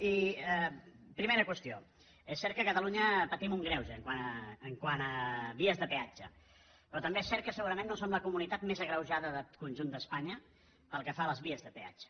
i primera qüestió és cert que a catalunya patim un greuge quant a vies de peatge però també és cert que segurament no som la comunitat més agreujada del conjunt d’espanya pel que fa a les vies de peatge